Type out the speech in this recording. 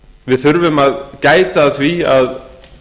við þurfum að gæta að því að